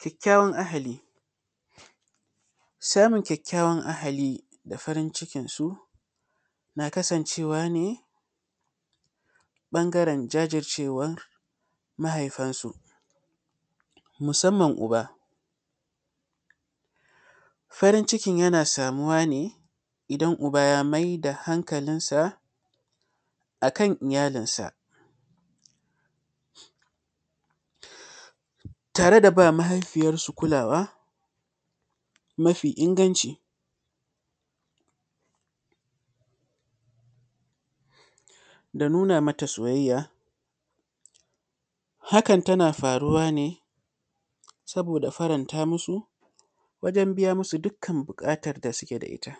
Kyakkyawan ahali. Samun kyakkyawan ahali da farin cikinsu na kasancewa ne, ƃangaren jajircewan mahaifansu musamman uba. Farin cikin yana samuwa ne, idan uba ya mai da hankalinsa a kan iyalinsa. Tare da ba mahaifiyarsu kulawa mafi inganci da nuna mata soyayya, hakan tana faruwa ne, saboda faranta musu, wajen biya musu dukkan buƙatar da suke da ita.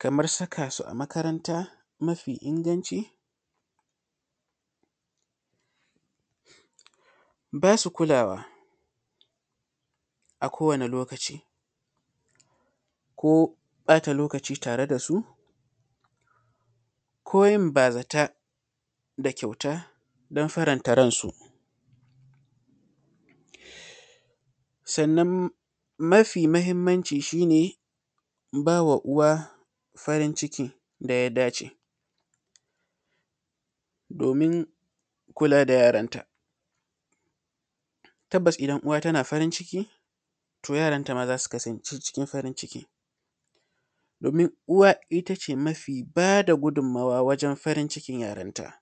Kamar saka su a makaranta mafi inganci, ba su kulawa kowane a lokaci ko ƃata lokaci tare da su ko yin bazata da kyauta don faranta ransu. Sannan, mafi mahimmanci shi ne, ba wa uwa farin ciki da ya dace domin kula da yaranta. Tabbas idan uwa tana farin ciki, to yaranta ma za su kasance cikin farin ciki, domin uwa ita ce mafi ba da gudummawa wajen farin cikin yaranta.